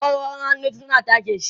awarwaron hannun ta suna ta sheƙi